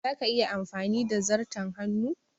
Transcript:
Za ka iya amfani da zarton hannu?